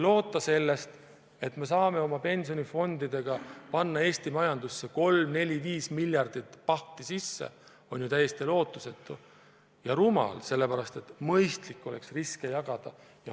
Loota, et me saame oma pensionifondidega panna Eesti majandusse 3, 4 või 5 miljardit pauhti sisse, on ju täiesti lootusetu ja rumal, sest mõistlik oleks riske jagada.